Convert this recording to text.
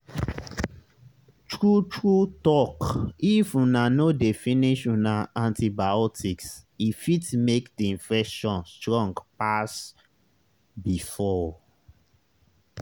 true true talkif una no dey finish una antibiotics e fit make the infection strong pass before.